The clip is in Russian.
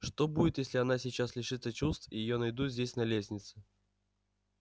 что будет если она сейчас лишится чувств и её найдут здесь на лестнице